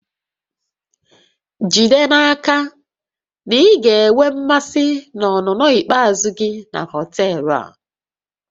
Jide n'aka na ị ga-enwe mmasị na ọnụnọ ikpeazụ gị na họtel a